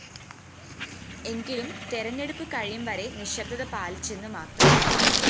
എങ്കിലും തെരഞ്ഞെടുപ്പ് കഴിയും വരെ നിശബ്ദത പാലിച്ചെന്നു മാത്രം